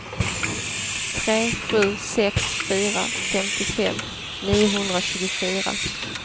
tre sju sex fyra femtiofem niohundratjugofyra